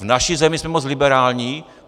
V naší zemi jsme moc liberální?